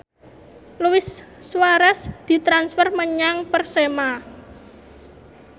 Luis Suarez ditransfer menyang Persema